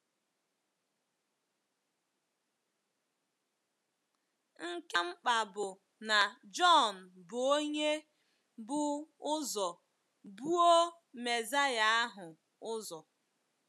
Nke ka mkpa bụ na Jọn bụ onye bu ụzọ buo Mesaya ahụ ụzọ.